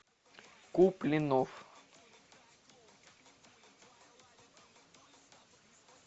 купленов